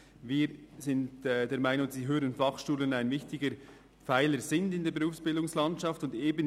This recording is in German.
Wir sind der Meinung, dass die HF einen wichtigen Pfeiler in der Berufsbildungslandschaft darstellen.